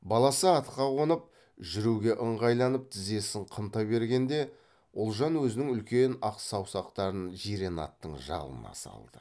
баласы атқа қонып жүруге ыңғайланып тізесін қымтай бергенде ұлжан өзінің үлкен ақ саусақтарын жирен аттың жалына салды